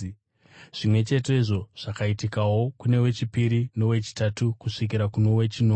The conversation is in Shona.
Zvimwe chetezvo zvakaitika kuno wechipiri nowechitatu kusvikira kuno wechinomwe.